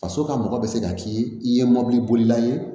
Faso ka mɔgɔ bɛ se ka k'i ye i ye mobili bolila ye